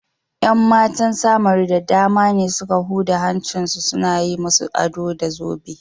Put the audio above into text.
’Yan matan Samaru da dama ne suka huda hancinsu suna yi musu ado da zobe.